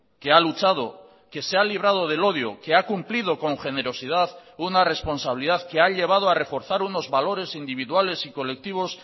que ha luchado que se ha librado del odio que ha cumplido con generosidad una responsabilidad que ha llevado a reforzar unos valores individuales y colectivos